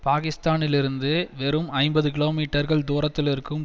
பாகிஸ்தானிலிருந்து வெறும் ஐம்பது கிலோமீட்டர்கள் தூரத்திலிருக்கும்